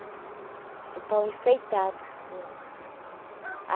Esse pau enfeitado. Ham.